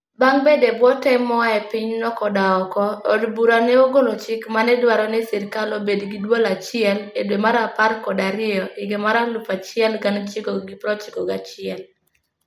Bang' bedo e bwo tem moa e pinyno koda oko, od bura ne ogolo chik ma ne dwaro ni sirkal obed gi duol achiel e dwe mar apar kod ariyo higa 1991.